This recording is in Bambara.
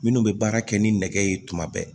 Minnu bɛ baara kɛ ni nɛgɛ ye tuma bɛɛ